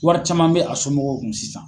Wari caman be a somɔgɔw kun sisan.